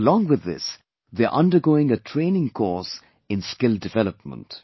Along with this, they are undergoing a training course in skill development